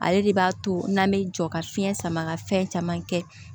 Ale de b'a to n'an bɛ jɔ ka fiɲɛ sama ka fɛn caman kɛ